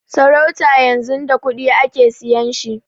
Sarauta yanzun da kuɗi ake siyan shi